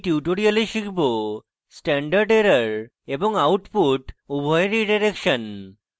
in tutorial শিখব standard error এবং output উভয়ের রীডাইরেকশন